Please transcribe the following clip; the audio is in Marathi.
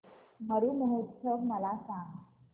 मरु महोत्सव मला सांग